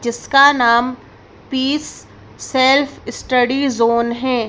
जिसका नाम peace self study zone है